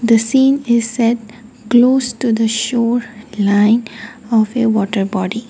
the scene is set close to the shore line of a waterbody.